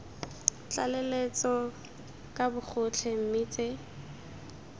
tlaleletso ka bogotlhe mme tse